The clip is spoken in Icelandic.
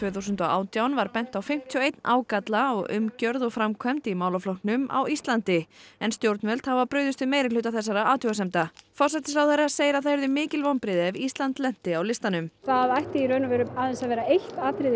þúsund og átján var bent á fimmtíu og eitt ágalla á umgjörð og framkvæmd í málaflokknum á Íslandi en stjórnvöld hafa brugðist við meirihluta þessara athugasemda forsætisráðherra segir að það yrðu mikil vonbrigði ef Ísland lenti á listanum það ætti í raun og veru aðeins að vera eitt atriði